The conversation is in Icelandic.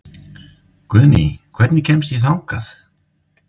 Guðný, hvernig kemst ég þangað?